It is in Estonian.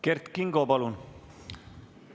Kert Kingo, palun!